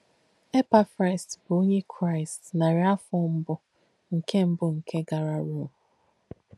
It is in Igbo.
Èpáfràs bù onyè Kráīst nàrí àfọ̀ mbù nkè mbù nkè gàrà Rōm.